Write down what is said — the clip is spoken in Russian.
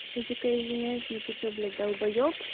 я дико извиняюсь но ты что блять долбаеб